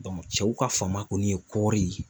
cɛw ka fanba kɔni ye kɔɔri ye